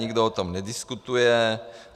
Nikdo o tom nediskutuje.